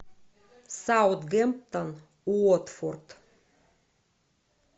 саутгемптон уотфорд